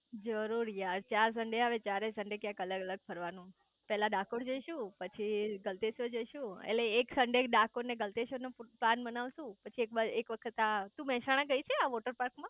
જરુરર યાર ચાર સન્ડે આવે એટલે ચારેય સન્ડે ક્યાંક અલગ અલગ ફરવાનું પેલા ડાકોર જઈશું પછી ગલતેશ્વર જઈશું એટલે એક સન્ડે ડાકોર અને ગલતેશ્વર નો પ્લાન બનાવશું પછી એક વખત આ તું મેહસાણા ગઈ છે આ વૉટરપાર્ક માં